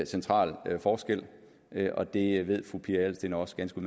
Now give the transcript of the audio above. central forskel og det ved fru pia adelsteen også ganske